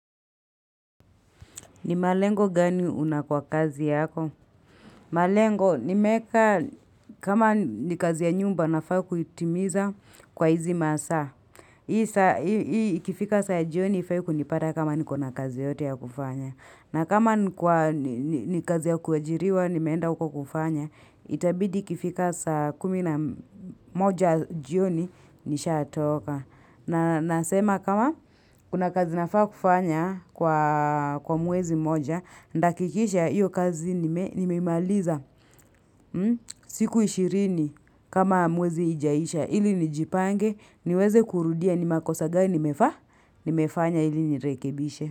Ni malengo gani una kwa kazi yako? Malengo ni meeka kama ni kazi ya nyumba nafaa kuitimiza kwa hizi masaa. Hii ikifika saa jioni ifai kunipata kama ni kuna kazi yoyote ya kufanya. Na kama ni kazi ya kuajiriwa ni meenda uko kufanya. Itabidi ikifika saa kumi na moja jioni nisha atoka. Na nasema kama kuna kazi nafaa kufanya kwa mwezi moja. Ndakikisha iyo kazi nimeimaliza siku ishirini kama mwezi ijaisha ili nijipange niweze kurudia nimakosagani nimefanya ili nirekebishe.